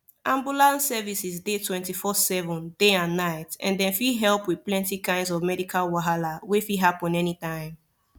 ambulance services dey 247 day and night and dem fit help with plenty kinds of medical wahala wey fit happen anytime